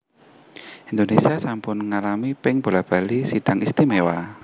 Indonésia sampun ngalami ping bola bali Sidang Istimewa